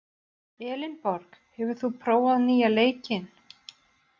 Elinborg, hefur þú prófað nýja leikinn?